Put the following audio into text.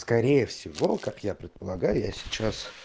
скорее всего как я предполагаю я сейчас